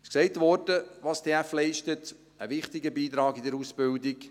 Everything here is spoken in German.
Es wurde gesagt, was die TF leistet: einen wichtigen Beitrag in der Ausbildung.